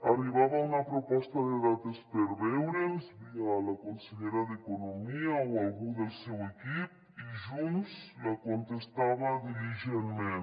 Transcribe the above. arribava una proposta de dates per veure’ns via la consellera d’economia o algú del seu equip i junts la contestava diligentment